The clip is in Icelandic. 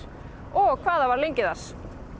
og hvað það var lengi þar